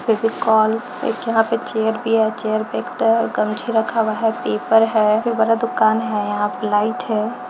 फेविकोल एक यहां पे चेयर भी है और चेयर पे एक तरफ गमछी रखा हुआ है पेपर है ये बड़ा दुकान है यहां पे लाइट है।